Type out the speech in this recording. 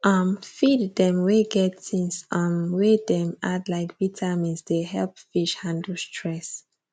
um feed them wey get things um wey dem add like vitamins dey help fish handle stress